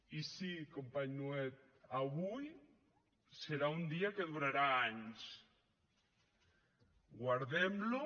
i sí company nuet avui serà un dia que durarà anys guardem lo